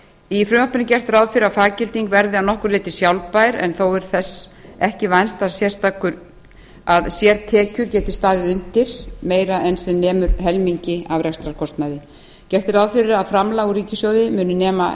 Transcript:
í frumvarpinu er gert ráð fyrir að faggilding verði að nokkru leyti sjálfbær en þó er þess ekki vænst að sértekjur geti staðið undir meira en sem nemur helmingi af rekstrarkostnaði gert er ráð fyrir að framlag úr ríkissjóði muni nema